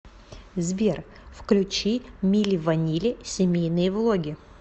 сбер включи мили ванили семейные влоги